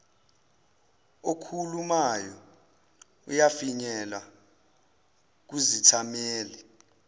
okhulumayo uyafinyelela kuzithameli